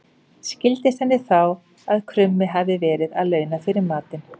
Skildist henni þá að krummi hafði verið að launa fyrir matinn.